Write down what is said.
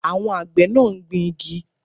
Àwọn àgbẹ̀ náà ń gbingi